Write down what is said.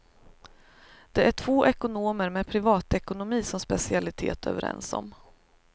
Det är två ekonomer med privatekonomi som specialitet, överens om.